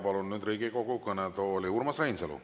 Palun nüüd Riigikogu kõnetooli Urmas Reinsalu.